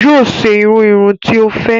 Yoo ṣe irú irun tí o fẹ